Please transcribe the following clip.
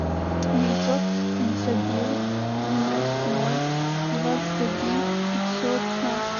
девятьсот пятьдесят девять девяносто ноль двадцать один пятьсот пятнадцать